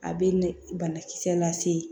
A bɛ ni banakisɛ lase